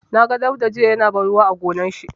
Na ga Dauda jiya ya na ban ruwa a gonar shi.